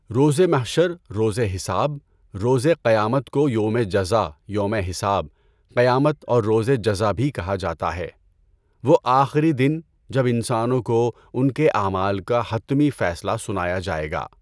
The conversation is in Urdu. روزِ محشر، روزِ حساب، روزِ قیامت کو یوم جزا، یوم حساب، قیامت اور روزِ جزا بھی کہا جاتا ہے، وہ آخری دن جب انسانوں کو ان کے اعمال کا حتمی فیصلہ سنایا جائے گا۔